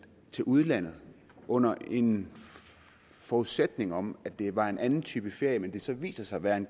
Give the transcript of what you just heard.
til udlandet under en forudsætning om at det var en anden type ferie men hvor det så viser sig at være en